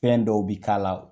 Fɛn dɔw bi k'a la